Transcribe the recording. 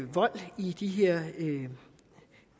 vold i de